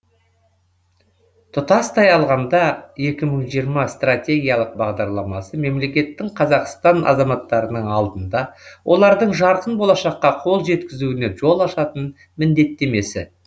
тұтастай алғанда екі мың жиырма стратегиялық бағдарламасы мемлекеттің қазақстан азаматтарының алдында олардың жарқын болашаққа қол жеткізуіне жол ашатын міндеттемесі